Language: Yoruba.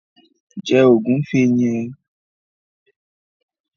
Jẹ ògúnfe yẹn!